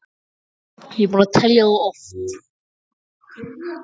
Ég er búinn að telja þá oft.